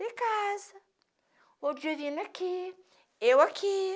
Ter casa, outro divino aqui, eu aqui.